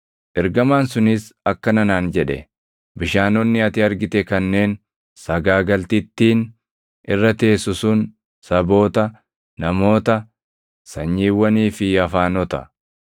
Ergamaan sunis akkana naan jedhe; “Bishaanonni ati argite kanneen sagaagaltittiin irra teessu sun saboota, namoota, sanyiiwwanii fi afaanota.